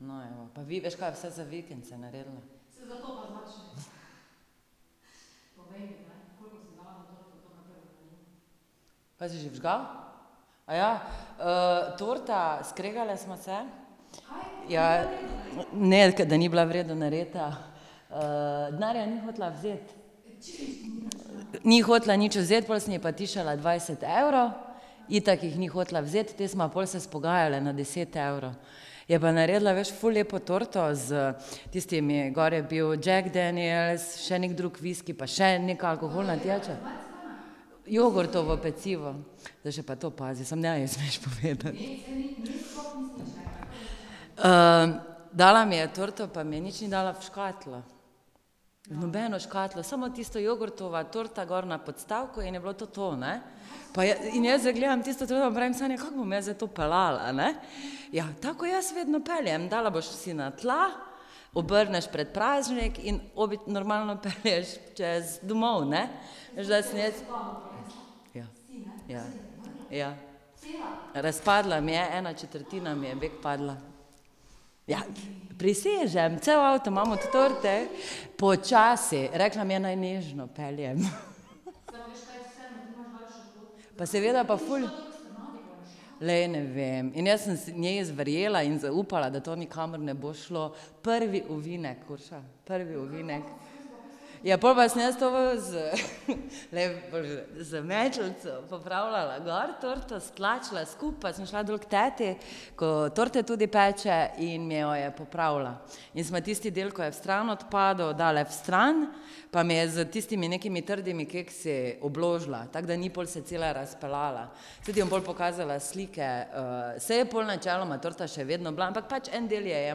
No, evo, pa vi, veš kaj, vsaj za vikend se je naredilo. Kaj si že vžgal? torta, skregale sva se. Ja. Ne, da ni bila v redu narejena. denarja ni hotela vzeti. Ni hotela nič vzeti, pol sem ji pa tiščala dvajset evrov, itak jih ni hotela vzeti, te sva pol se izpogajale na deset evrov. Je pa naredila, veš, ful lepo torto, s tistimi, gor je bil Jack Daniels, še neki drug viski pa še neka alkoholna pijača. Jogurtovo pecivo. Zdaj še pa to pazi, samo ne ji smeš povedati. dala mi je torto pa mi nič ni dala v škatlo, v nobeno škatlo, samo tisto jogurtova torta gor na podstavku in je bilo to to, ne. Pa in jaz zdaj gledam tisto torto pa pravim: "Sanja, kako bom jaz zdaj to peljala, ne?" "Ja, tako ko jaz vedno peljem, dala boš si na tla, obrneš predpražnik in normalno pelješ čez, domov, ne." Veš da sem jaz ... Ja. Ja. Ja. Razpadla mi je, ena četrtina mi je bek padla. ... Prisežem, cel avto imam od torte. Počasi, rekla mi je, naj nežno peljem. Pa seveda pa ful ... Glej, ne vem, in jaz sem njej verjela in zaupala, da to nikamor ne bo šlo. Prvi ovinek, Urša, prvi ovinek. Ja, pol pa sem jaz to glej, z metlico popravljala gor, torto stlačila skupaj pa sem šla dol k teti, ko torte tudi peče in mi jo je popravila. In smo tisti del, ko je vstran odpadel, dale vstran, pa mi je s tistimi nekimi trdimi keksi obložila, tako da ni pol se cela razpeljala. Saj ti bom pol pokazala slike, saj je pol načeloma torta še vedno bila, ampak pač en del je je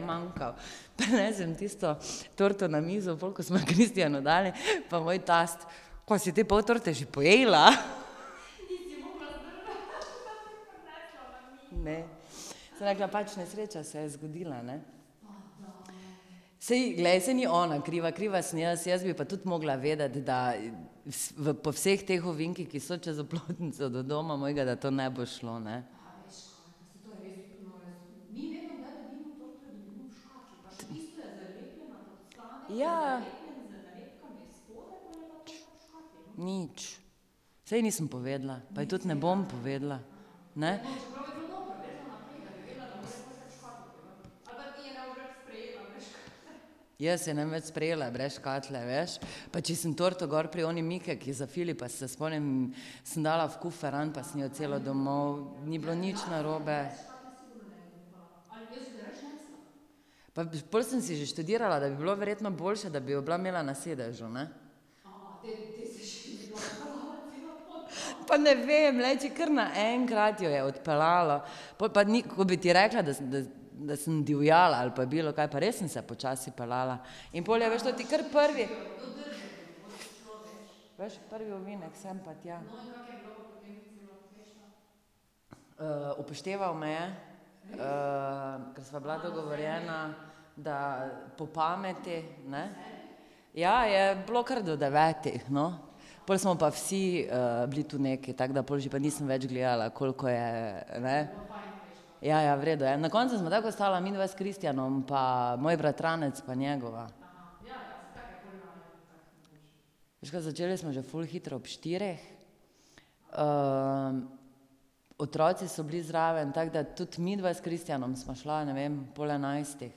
manjkal. Pa nesem tisto torto na mizo pol, ko smo jo Kristjanu dali pa moj tast: "Kva si te pol torte že pojedla?" Ne. Sem rekla: "Pač nesreča se je zgodila, ne." Saj glej, saj ni ona kriva, kriva sem jaz, jaz bi pa tudi morala vedeti, da po vseh teh ovinkih, ki so čez Oplotnico do doma mojega, da to ne bo šlo, ne. Ja. Nič. Saj nisem povedala, pa ji tudi ne bom povedala. Ne. Jaz je ne bom več sprejela brez škatle, veš. Pa če sem torto gor pri oni Mikeki za Filipa, se spomnim sem dala v kuferan pa sem jo celo domov, ni bilo nič narobe. Pa pol sem si že študirala, da bi bilo verjetno boljše, da bi jo bila imela na sedežu, ne. Pa ne vem, glej, če kar naenkrat jo je odpeljalo. Pol pa ni, ko bi ti rekla, da da da sem divjala ali pa bilokaj pa res sem se počasi peljala. In pol je, veš, toti kar prvi ... upošteval me je, ker sva bila dogovorjena, da po pameti, ne. Ja, je bilo kar do devetih, no. Pol smo pa vsi bili tu nekaj, tako da pol že pa nisem več gledala, koliko je, ne. Ja, ja, v redu je, na koncu smo tako ostala midva s Kristjanom pa moj bratranec pa njegova. Veš ka, začeli smo že ful hitro ob štirih, otroci so bili zraven, tako da tudi midva s Kristjanom sva šla, ne vem, ob pol enajstih.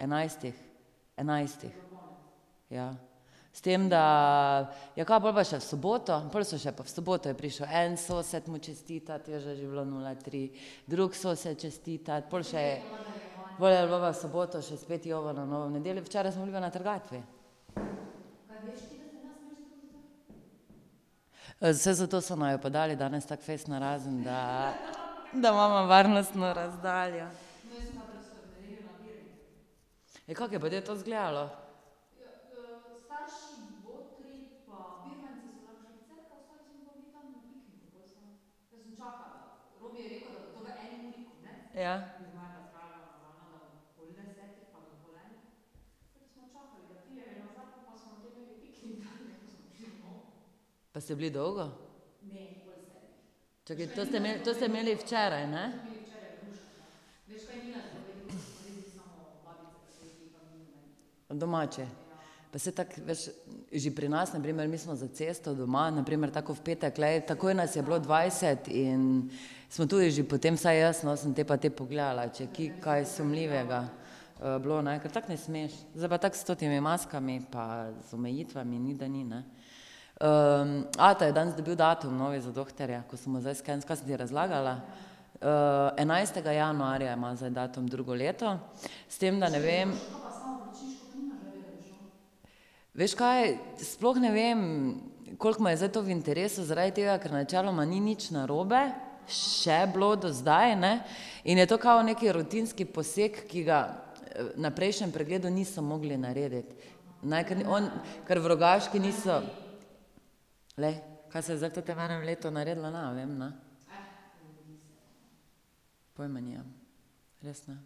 Enajstih. Enajstih. Ja. S tem da, ja, ka pol pa še v soboto, pol se še pa v soboto je prišel en sosed mu čestitat, veš, da že je bilo nula tri, drug sosed čestitat pol še ... Pol je bilo pa v soboto še spet jovo na novo, v nedeljo, včeraj, smo bili pa na trgatvi. saj zato so naju pa dali danes tako fejst narazen, da da imava varnostno razdaljo. Ja, kako je pa te to zgledalo? Ja. Pa ste bili dolgo? Čakaj, to ste to ste imeli včeraj, ne? Domači. Pa saj tako, veš, že pri nas na primer, mi smo za cesto doma, na primer tako kot v petek, glej, takoj nas je bilo dvajset in smo tudi že potem, saj jaz, no, sem te pa te pogledala, če je kje kaj sumljivega bilo, ne, kar tako ne smeš. Zdaj pa tako s temi maskami pa z omejitvami, ni da ni, ne. ata je danes dobil datum novi za dohtarja, ko so mu zdaj kaj sem ti razlagala? enajstega januarja ima zdaj datum drugo leto, s tem da ne vem ... Veš kaj, sploh ne vem koliko mu je zdaj to v interesu zaradi tega, ker načeloma ni nič narobe še bilo do zdaj, ne, in je to kao nekaj rutinski poseg, ki ga na prejšnjem pregledu niso mogli narediti. Ne, ker on ker v Rogaški niso ... Glej, kaj se je zdaj v totem enem letu naredilo, ne vem, ne. Pojma nimam. Res ne.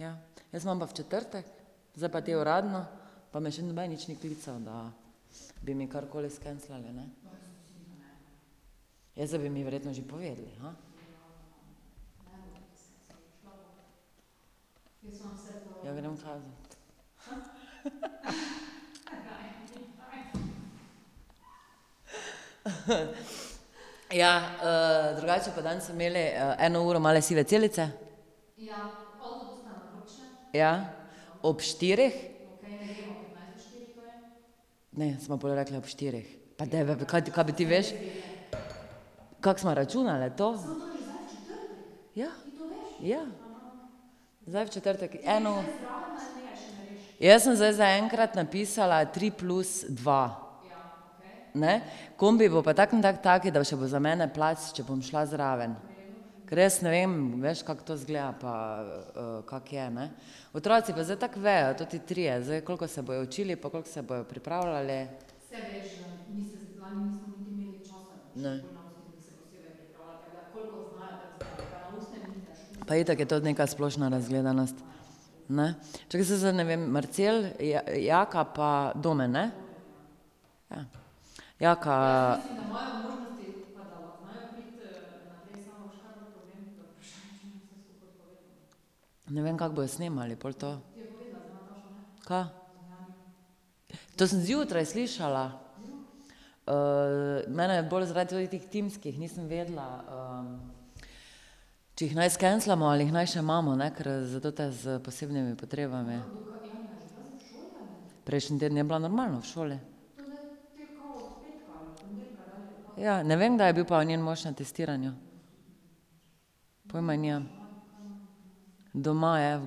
Ja. Jaz imam pa v četrtek, zdaj pa te uradno pa me še noben nič ni klical, da bi mi karkoli skenslali, ne. Jaz zdaj bi mi verjetno že povedali, Ja grem v . ja drugače pa danes so imeli eno uro Male sive celice. Ja. Ob štirih. Ne, sva pol rekli ob štirih. Pa da kaj ti, kaj bi ti, veš? Kako sva računali to? Ja. Ja. Zdaj v četrtek, eno ... Jaz sem zdaj zaenkrat napisala tri plus dva. Ne, kombi bo pa tako in tako tak, da bo še bo za mene plac, če bom šla zraven. Kar jaz ne vem, veš, kako to izgleda pa kako je, ne, otroci pa zdaj tako vejo, toti trije zdaj, koliko se bojo učili pa koliko se bojo pripravljali. Ne. Pa itak je to neka splošna razgledanost, ne. Čakaj, saj zdaj ne vem, Marcel, Jaka pa Domen, ne? Ja. Jaka ... Ne vem, kako bojo snemali pol to. Kaj? To sem zjutraj slišala. mene je bolj zaradi teh timskih, nisem vedela če jih naj skenslamo ali naj jih še imamo, ne, ker za tote s posebnimi potrebami. Prejšnji teden je bila normalno v šoli. Ja, ne vem, kdaj je bil pol njen mož na testiranju. Pojma nimam. Doma je v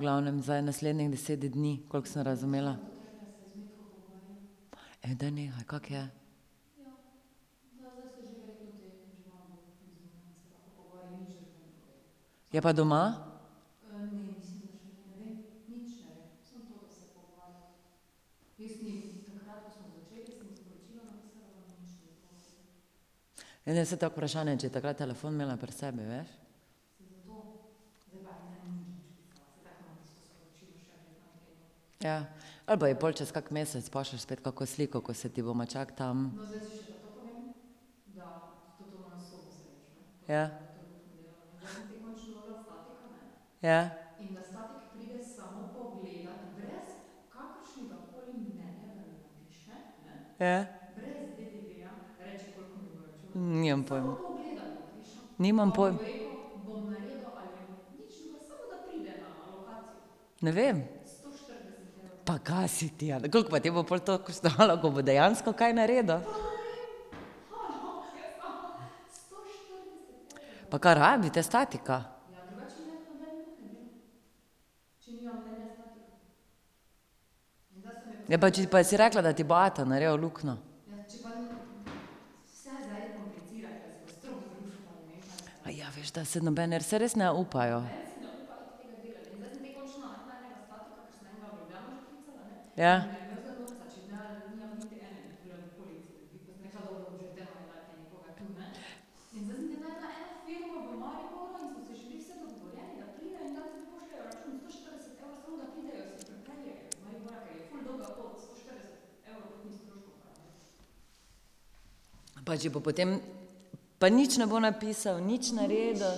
glavnem zdaj naslednjih deset dni, koliko sem razumela. daj nehaj, kako je? Je pa doma? Ne, ne, saj tako vprašanje, če je takrat telefon imela pri sebi, veš. Ja, ali pa ji pol čez kak mesec pošlješ spet kako sliko, ko se ti bo. Ja. Ja. Ja. Nimam pojma. Nimam Ne vem. Pa ka si ti, ja, koliko pa te bo pol to koštalo, ko bo dejansko kaj naredil? Pa kaj rabite statika? Ne, pa če, pa si rekla, da ti bo ata naredil luknjo. veš da, saj noben saj res ne upajo. Ja. Pa če bo potem ... Pa nič ne bo napisal, nič naredil?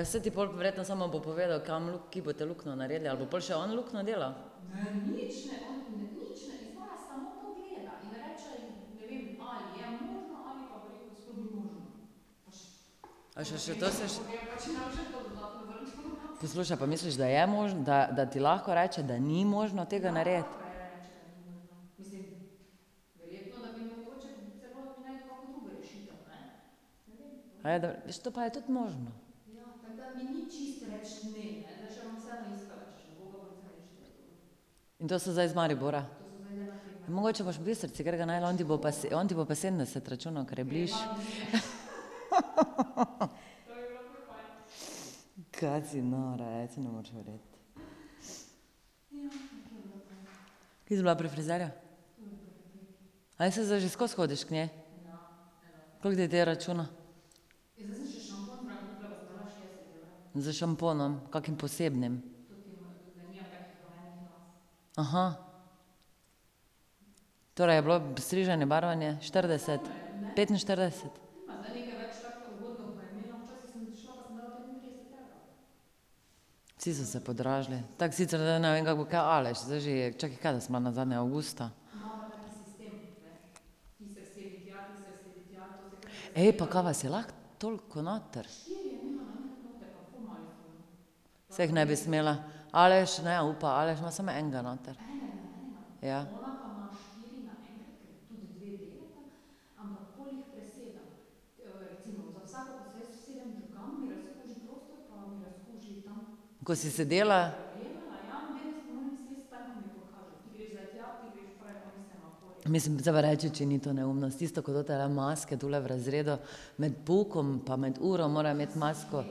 Ja, saj ti pol verjetno samo bo povedal, kam kje boste luknjo naredili, ali bo pol on še luknjo delal? A še še to ... Poslušaj, pa misliš, da je da da ti lahko reče, da ni možno tega narediti? dobro, veš, to je pa tudi možno. To so zdaj iz Maribora? Mogoče boš pa v Bistrici katerega našla, on ti bo pa on ti bo pa sedemdeset računal, ker je bližje. Ka si nora, ej, saj ne moreš verjeti. Kje si bila pri frizerju? saj zdaj že skozi hodiš k njej? Koliko ti te računa? S šamponom, kakim posebnim? Torej je bilo striženje, barvanje štirideset, petinštirideset? Vsi so se podražili, tako sicer zdaj ne vem, kako bo kaj Aleš, zdaj že je, čakaj kdaj sem bila nazadnje, avgusta? Ej, pa kaj vas je lahko toliko noter? Saj jih ne bi smela. Aleš ne upa, Aleš ima samo enega noter. Ja. Ko si sedela ... Mislim, zdaj pa reči, če ni to neumnost, tisto ko totele maske tule v razredu med poukom pa med uro morajo imeti masko.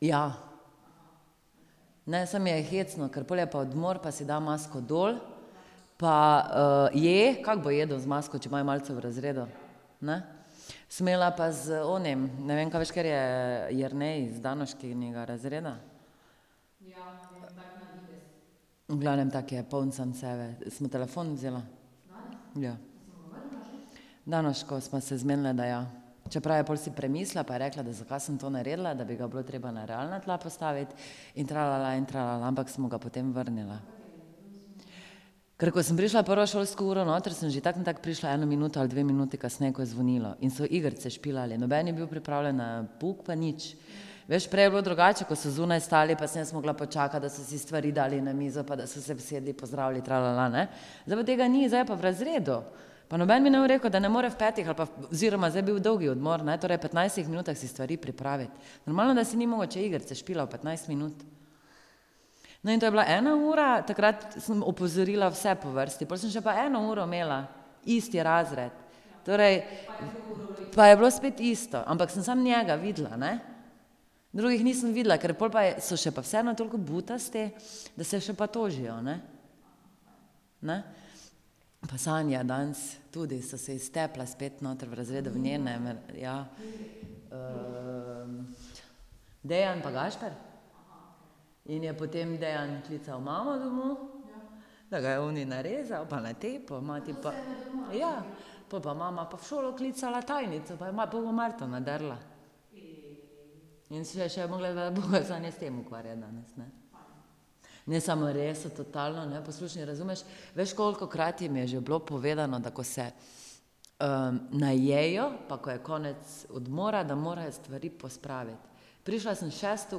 ja. Ne, saj mi je hecno, ker pol je pa odmor pa si dajo masko dol pa je, kako bo jedel z masko, če imajo malico v razredu? Ne? Sem imela pa z onim, ne vem ka, veš, ker je Jernej z Danoškinega razreda? V glavnem tako je poln sam sebe, sem mu telefon vzela. Ja. Z Danoško smo se zmenile, da ja. Čeprav je pol si premislila pa je rekla, da zakaj sem to naredila, da bi ga bilo treba na realna tla postaviti in in ampak smo ga potem vrnile. Ker ko sem prišla prvo šolsko uro noter, sem že tako ali tako prišla eno minuto ali dve minuti kasneje, ko je zvonilo in so igrice špilali, noben ni bil pripravljen na pouk pa nič. Veš, prej je bilo drugače, ko so zunaj stali pa sem jaz morala počakati, da so si stvari dali na mizo, pa da so se usedli, pozdravili, ne. Zdaj pa tega ni, zdaj je pa v razredu. Pa noben mi ne bo rekel, da ne more v petih ali pa ziher, ma zdaj je bil dolgi odmor, ne, torej petnajstih minutah si stvari pripraviti. Normalno, da si ni mogel, če je igrice špilal petnajst minut. No, in to je bila ena ura, takrat sem opozorila vse po vrsti, pol sem še pa eno uro imela isti razred. Torej ... Pa je bilo spet isto, ampak sem samo njega videla, ne. Drugih nisem videla, ker pol pa je, so še pa vseeno toliko butasti, da se še pa tožijo, ne. Ne? Pa Sanja danes, tudi so se ji stepla spet noter v razredu, v njenem, ja. Dejan pa Gašper. In je potem Dejan klical mamo domov. Da ga je oni narezal pa natepel, mati pa ... Ja. Pol pa mama pa v šolo klicala tajnico pa je pa je ono Marto nadrla. In se je še morala s tem ukvarjati danes, ne. Ne, samo res, so totalno neposlušni, razumeš, veš kolikokrat jim je že bilo povedano, da ko se najejo pa ko je konec odmora, da morajo stvari pospraviti. Prišla sem šesto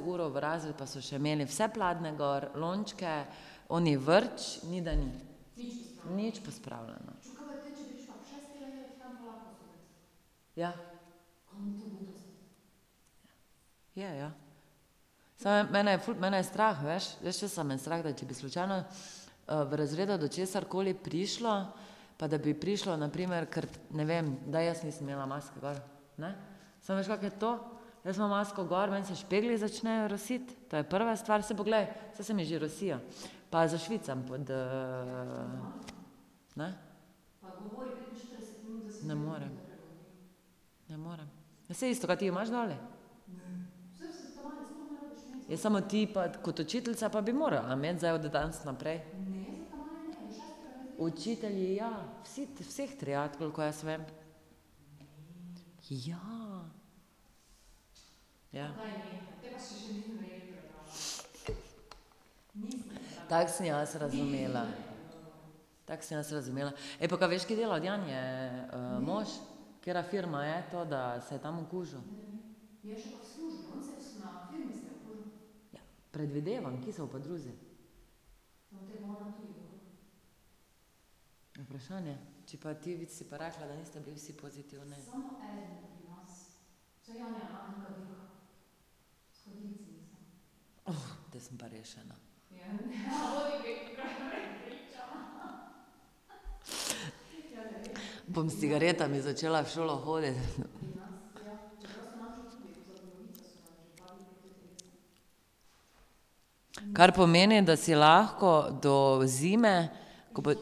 uro v razred pa so še imeli vse pladnje gor, lončke, oni vrč, ni da ni. Nič pospravljeno. Ja. Je, ja. Samo mene je ful, mene je strah, veš. Veš, česa me je strah? Da če bi slučajno v razredu do česarkoli prišlo, pa da bi prišlo na primer, kar ne vem, da jaz nisem imela maske gor. Ne? Samo veš, kako je to? Jaz imam masko gor, meni se špegli začnejo rositi, to je prva stvar, saj poglej, saj se mi že rosijo. Pa zašvicam pod ne. Ne morem. Ne morem. Ja, saj isto, kaj ti jo imaš, ? Ja, samo ti pa kot učiteljica pa bi morala imeti zdaj od danes naprej. Učitelji, ja, vsi, vseh triad, kolikor jaz vem. Ja. Ja. Tako sem jaz razumela. Tako sem jaz razumela. Ej, pa ka veš, kje dela od Janje mož, katera firma je to, da se je tam okužil? Predvidevam, kje se bo pa drugje. Vprašanje, če pa ti si pa rekla, da niste bili vsi pozitivni. zdaj sem pa rešena. Bom s cigaretami začela v šolo hoditi. Kar pomeni, da si lahko do zime, ko bo ...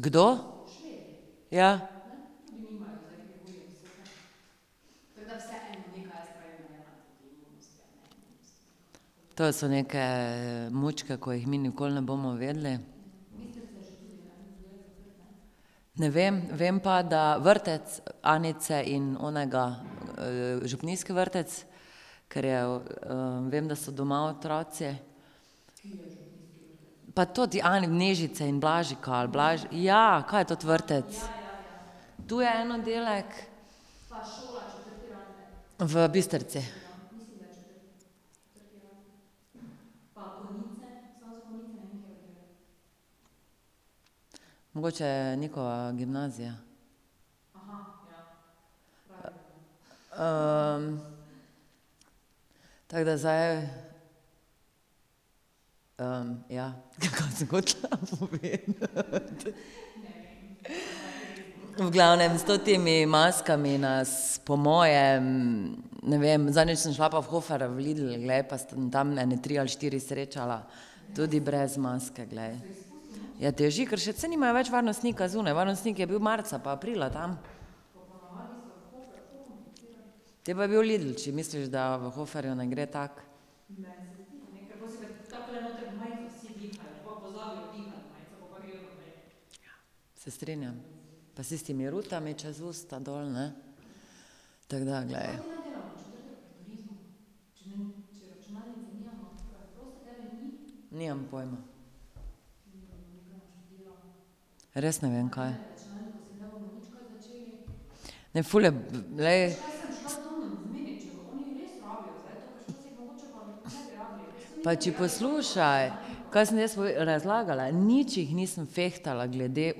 Kdo? Ja. To so neke mučke, ko jih mi nikoli ne bomo vedeli. Ne vem, vem pa, da vrtec Anice in onega, župnijski vrtec, ker je vem, da so doma otroci. Pa toti Nežice in Blažika ali ... ja. Kaj je toti vrtec? To je en oddelek. V Bistrici. Mogoče je gimnazija. Tako da zdaj. ja, kaj sem hotela povedati? V glavnem s temi maskami nas po mojem, ne vem, zadnjič sem šla pa v Hofer, v Lidl, glej, pa sem tam ene tri ali štiri srečala tudi brez maske, glej. Ja, teži, ker saj nimajo več varnostnika zunaj, varnostnik je bil marca pa aprila tam. Potem pa je bil Lidl, če misliš, da v Hoferju ne gre tako. Se strinjam. Pa s tistimi rutami čez usta dol, ne, tako da, glej. Nimam pojma. Res ne vem kaj. Ne, ful je, glej. Pa če poslušaj ... Kaj sem jaz razlagala, nič jih nisem fehtala glede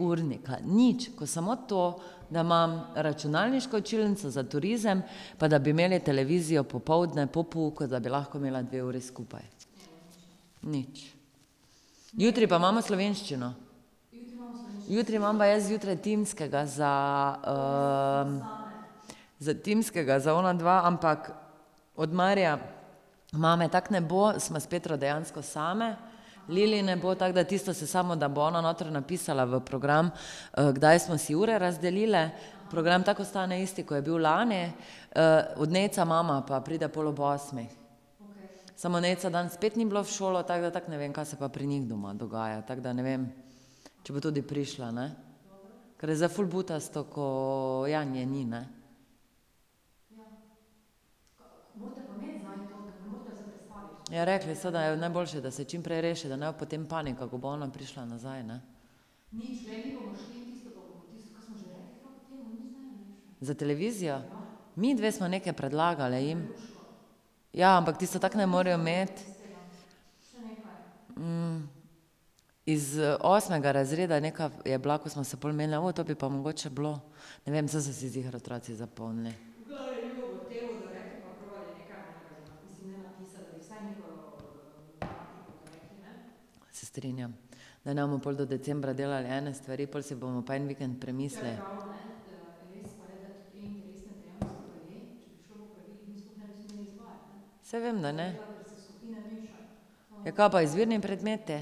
urnika, nič, ko samo to, da imam računalniško učilnico za turizem pa da bi imeli televizijo popoldne po pouku, da bi lahko imela dve uri skupaj. Nič. Jutri pa imamo slovenščino. Jutri imam pa jaz zjutraj timskega za Timskega za onadva, ampak od Marija mame tako ne bo, sva s Petro dejansko sami, Lili ne bo, tako da tisto se samo, da bo ona notri napisala v program, kdaj sva si ure razdelili, program tako ostane isti, ko je bil lani. od Nejca mama pa pride pol ob osmih. Samo Nejca danes spet ni bilo v šolo, tako da tako ne vem, ka se pa pri njih doma dogaja, tako da ne vem. Če bo tudi prišla, ne. Ker je zdaj ful butasto, ko Janje ni, ne. Ja rekli so, da je najboljše, da se čim prej reši, da ne bo potem panika, ko bo ona prišla nazaj, ne. Za televizijo? Midve sva nekaj predlagali jim. Ja, ampak tisto tako ne morejo imeti. Iz osmega razreda je neka, je bila, ko sva se pol menili, o to bi pa mogoče bilo. Ne vem, saj so si ziher otroci zapomnili. Se strinjam. Da ne bomo pol do decembra delali ene stvari, pol si bomo pa en vikend premislili. Saj vem, da ne. Ja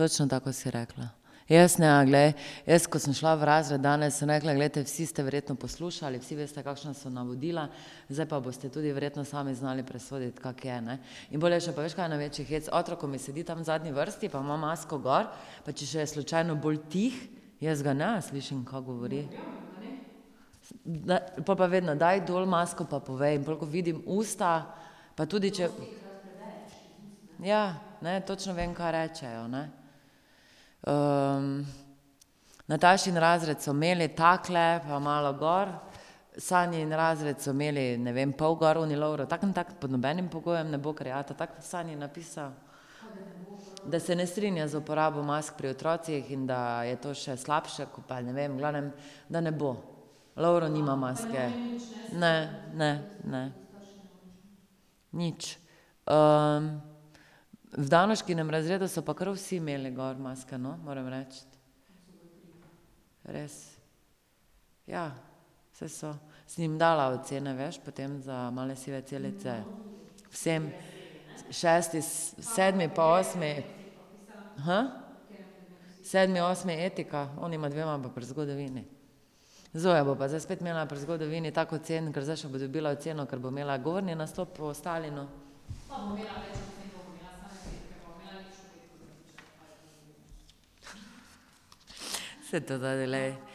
kaj pa izbirni predmeti? točno tako, kot si rekla. Jaz ne, glej, jaz ko sem šla v razred danes, sem rekla: "Glejte, vsi ste verjetno poslušali, vsi veste, kakšna so navodila, zdaj pa boste tudi verjetno sami znali presoditi, kako je, ne." In pol je še pa, veš kaj največji hec? Otrok, ko mi sedi tam v zadnji vrsti pa ima masko gor, pa če še je slučajno bolj tih, jaz ga ne slišim, ka govori. pol pa vedno, daj dol masko, pa povej. In pol, ko vidim usta, pa tudi če ... Ja, ne, točno vem, ka rečejo, ne. Natašin razred so imeli takole, pa malo gor, Sanjin razred so imeli, ne vem, pol gor, oni Lovro tako ali tako pod nobenim pogojem ne bo, ker je ata tako Sanji napisal. Da se ne strinja z uporabo mask pri otrocih in da je to še slabše, ko pa ne vem, v glavnem, da ne bo. Lovro nima maske. Ne. Ne. Ne. Nič. V Danoškinem razredu so pa kar vsi imeli gor maske, no, moram reči. Res. Ja. Saj so. Sem jim dala ocene, veš, potem za Male sive celice. Vsem. Šesti, sedmi pa osmi. Sedmi, osmi etika, onima dvema pa pri zgodovini. Zoja bo pa zdaj spet imela pri zgodovini tako ocen, ker zdaj še bo dobila oceno, ker bo imela govorni nastop o Stalinu. Saj to , glej.